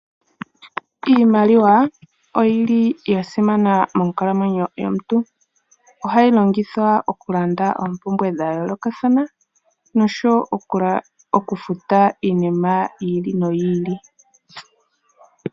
Iimaliwa oyili yasimana monkalamwenyo yomuntu, ohayi longithwa okulanda oompumbwe dha yolokathana nosho woo okufuta iinima yiili noyiili.